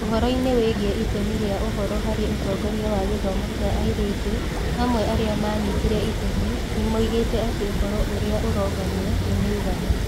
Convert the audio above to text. Ũhoro-inĩ wĩgiĩ itemi rĩa ũhoro harĩ ũtongoria wa gĩthomo kĩa airĩtu, amwe arĩa maanyitire itemi nĩ moigĩte atĩ ũhoro ũrĩa ũronganio nĩ mũiganu.